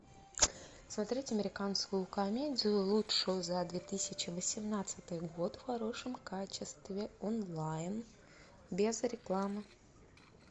смотреть американскую комедию лучшую за две тысячи восемнадцатый год в хорошем качестве онлайн без рекламы